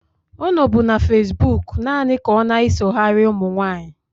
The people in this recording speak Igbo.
Ọ nọbụ na fesbụụk naanị ka ọna-esoghari ụmụ nwaanyị.